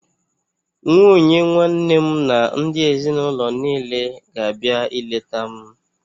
Nwunye nwanne m na ndị ezinaụlọ niile ga-abịa ileta m